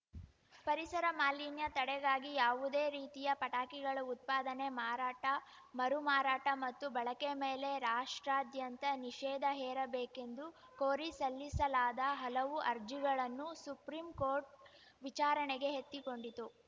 ಪರಿಸರ ಮಾಲಿನ್ಯ ತಡೆಗಾಗಿ ಯಾವುದೇ ರೀತಿಯ ಪಟಾಕಿಗಳ ಉತ್ಪಾದನೆ ಮಾರಾಟ ಮರು ಮಾರಾಟ ಮತ್ತು ಬಳಕೆ ಮೇಲೆ ರಾಷ್ಟ್ರಾದ್ಯಂತ ನಿಷೇಧ ಹೇರಬೇಕೆಂದು ಕೋರಿ ಸಲ್ಲಿಸಲಾದ ಹಲವು ಅರ್ಜಿಗಳನ್ನು ಸುಪ್ರೀಂ ಕೋರ್ಟ್‌ ವಿಚಾರಣೆಗೆ ಎತ್ತಿಕೊಂಡಿತು